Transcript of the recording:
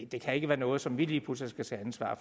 det kan ikke være noget som vi lige pludselig skal tage ansvar